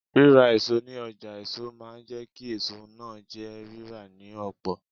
Ríra èso ní ọjà èso máa jẹ́ kí èso náà jẹ́ rírà ní ọ̀pọ̀.